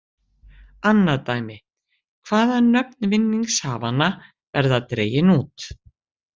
Annað dæmi:. hvaðan nöfn vinningshafanna verða dregin út.